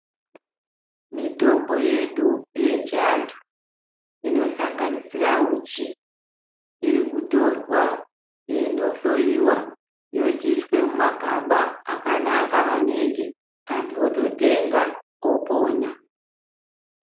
Mitombo yedu yechiantu inosanganisira uchi iri kutorwa yeindo hloyiwa yochiiswa mumagaba akanaka maningi antu ototenga opona.